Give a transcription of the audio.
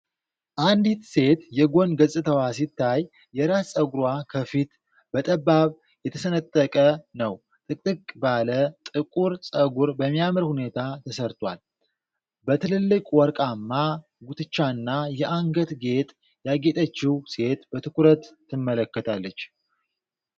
አንዲት ሴት የጎን ገጽታዋ ሲታይ፣ የራስ ፀጉሯ ከፊት በጠባብ የተሰነጠቀ ነው፣ ጥቅጥቅ ባለ ጥቁር ፀጉር በሚያምር ሁኔታ ተሰርቷል። በትልልቅ ወርቃማ ጉትቻና የአንገት ጌጥ ያጌጠችው ሴት በትኩረት ትመለከታለች።